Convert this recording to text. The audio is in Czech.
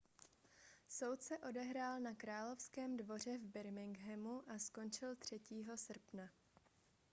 soud se odehrál na královském dvoře v birminghamu a skončil 3. srpna